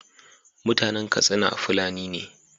Mutanan Katsina fulani ne